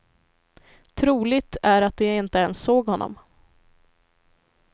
Troligt är att de inte ens såg honom.